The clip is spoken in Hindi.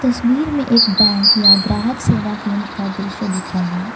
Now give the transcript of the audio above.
तस्वीर में एक बैंक या ग्राहक सेवा केंद्र का दृश्य दिख रहा है।